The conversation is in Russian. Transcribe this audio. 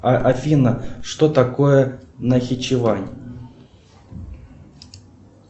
афина что такое нахичевань